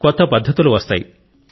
కొత్త పద్ధతులు వస్తాయి